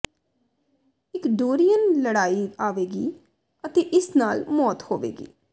ਇਕ ਡੋਰੀਅਨ ਲੜਾਈ ਆਵੇਗੀ ਅਤੇ ਇਸ ਨਾਲ ਮੌਤ ਹੋਵੇਗੀ